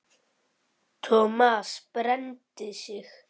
Thomas brenndi sig.